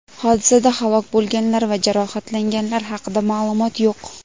Hodisada halok bo‘lganlar va jarohatlanganlar haqida ma’lumot yo‘q.